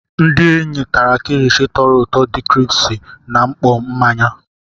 Ndị enyi tara kilishi toru ụtọ di kiripsi na mkpọ mmanya.